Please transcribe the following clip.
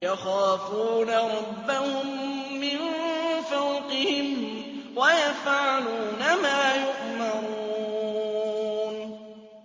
يَخَافُونَ رَبَّهُم مِّن فَوْقِهِمْ وَيَفْعَلُونَ مَا يُؤْمَرُونَ ۩